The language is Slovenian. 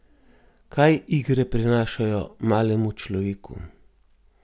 Kaj igre prinašajo malemu človeku?